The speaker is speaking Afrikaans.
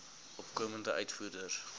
opkomende uitvoerders